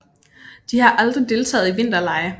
De har aldrig deltaget i vinterlege